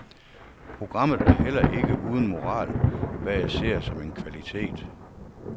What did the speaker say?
Programmet er heller ikke uden moral, hvad jeg ser som en kvalitet.